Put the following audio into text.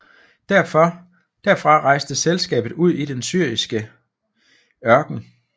Derfra rejste selskabet ud i den syriske ørken